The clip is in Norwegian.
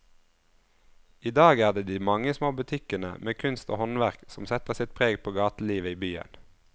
I dag er det de mange små butikkene med kunst og håndverk som setter sitt preg på gatelivet i byen.